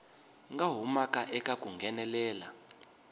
nga humaka eka ku nghenelela